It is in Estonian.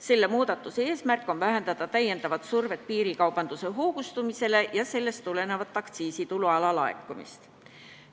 Selle muudatuse eesmärk on vähendada täiendavat survet piirikaubanduse hoogustumisele ja sellest tulenevat aktsiisitulu alalaekumist.